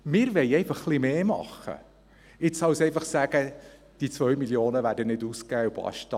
Wir wollen einfach ein bisschen mehr machen, als einfach zu sagen: «Die 2 Mio. Franken werden nicht ausgegeben und basta.